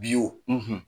Bi wo